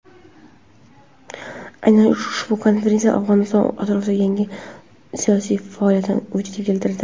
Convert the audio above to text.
Aynan ushbu konferensiya Afg‘oniston atrofida yangi siyosiy faoliyatni vujudga keltirdi.